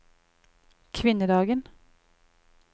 kvinnedagen